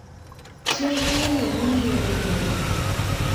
chiemb welo nonyiew nyoro